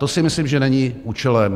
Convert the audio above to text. To si myslím, že není účelem.